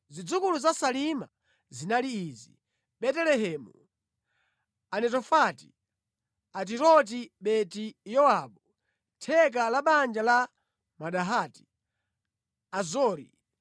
Zidzukulu za Salima zinali izi: Betelehemu, Anetofati, Atiroti-Beti-Yowabu, theka la banja la Manahati, Azori,